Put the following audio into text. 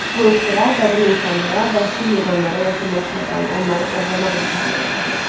Bu ixtira qədim insanlara vəhşi heyvanlara yaxınlaşmadan onları ovlamaq imkanı verirdi.